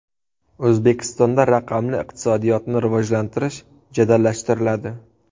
O‘zbekistonda raqamli iqtisodiyotni rivojlantirish jadallashtiriladi.